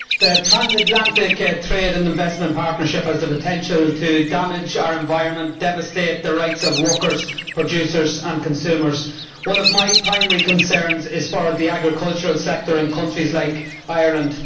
Mr President, the Transatlantic Trade and Investment Partnership has the potential to damage our environment and devastate the rights of workers, producers and consumers. One of my primary concerns is for the agricultural sector in countries like Ireland.